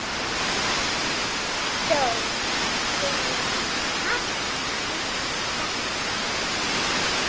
Dó fyrir hartnær sex árum.